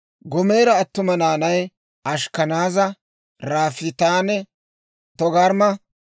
Goomera attuma naanay: Ashkkanaaza, Riifaatanne Togarmma.